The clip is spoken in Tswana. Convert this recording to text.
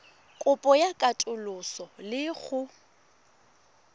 kopo ya katoloso le go